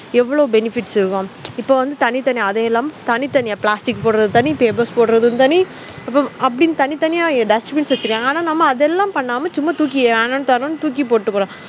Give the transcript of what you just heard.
எவ்ள benefitஇருக்கும் இப்போ வந்து தனி தனி plastic போடுறது தன tables போடுறது தனி இப்ப தனி தனியா dustbin வச்சிருக்காங்க நம்ம சும்மா ஏனோதானோகீழ போட்டுபோறோம்